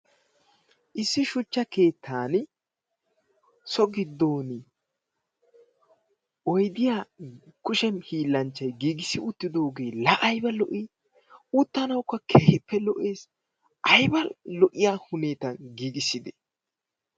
Issi shuchcha keettan so giddon oyidiya kushe hiillanchchay giigissi uttidoogee la ayiba lo'i! Uttanawukka keehippe lo'ees. Ayiba lo'iya huneetan giigisside!